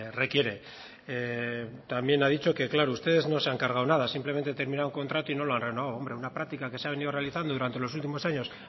requiere también ha dicho que claro ustedes no se han cargado nada simplemente terminaron contrato y no lo han renovado hombre una práctica que se ha venido realizando durante los últimos años